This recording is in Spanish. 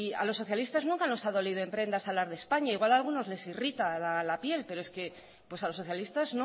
a los socialistas nunca nos ha dolido en prendas hablar de españa igual a algunos les irrita la piel pero es que a los socialistas